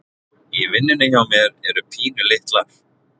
í vinnunni hjá mér eru pínulitlar